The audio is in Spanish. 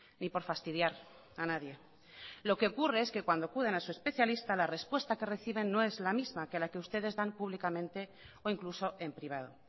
ni por fastidiar a nadie lo que ocurre es que cuando acuden a su especialista la respuesta no es la misma que las que ustedes dan públicamente o incluso en privado